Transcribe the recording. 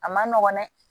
A man nɔgɔn dɛ